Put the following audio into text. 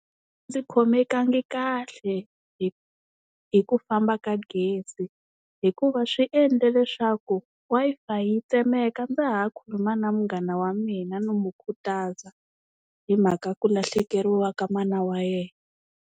Ndzi khomekangi kahle hi hi ku famba ka gezi hikuva swi endle leswaku Wi-Fi yi tsemeka ndza ha khuluma na munghana wa mina ni mu khutaza hi mhaka ku lahlekeriwa ka mana wa yena.